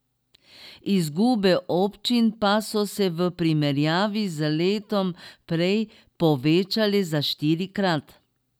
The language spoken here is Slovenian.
Izgube občin pa so se v primerjavi z letom prej povečale za štirikrat.